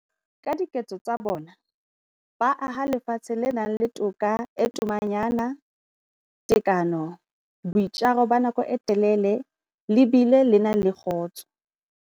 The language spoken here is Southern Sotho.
Ka diketso tsa bona, ba aha lefatshe le nang le toka e tomanyana, tekano, boitjaro ba nako e telele le bile le na le kgotso.